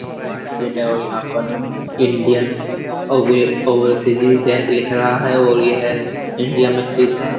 एक मार्केट है और यहाँ पर इंडियन ओवर ओवरसीज बैंक लिख रखा है और यह इंडिया में स्थित है।